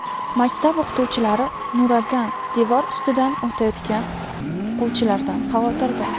Maktab o‘qituvchilari nuragan devor ustidan o‘tayotgan o‘quvchilardan xavotirda.